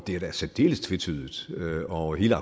er da særdeles tvetydigt og hele